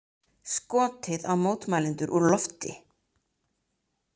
Skotið á mótmælendur úr lofti